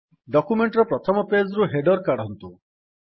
document ର ପ୍ରଥମ page ରୁ ହେଡର୍ କାଢ଼ନ୍ତୁ